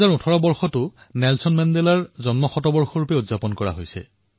২০১৮ Nelson মেণ্ডেলাৰ জন্ম শতাব্দী বৰ্ষ হিচাপে পালন কৰা হয়